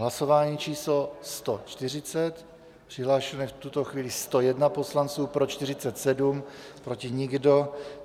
Hlasování číslo 140, přihlášeno je v tuto chvíli 101 poslanců, pro 47, proti nikdo.